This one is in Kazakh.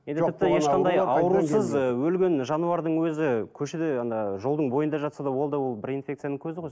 аурусыз ы өлген жануардың өзі көшеде жолдың бойында жатса да ол да ол бір инфекцияның көзі ғой